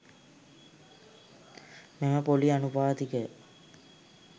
මෙම පොළි අනුපාතිකය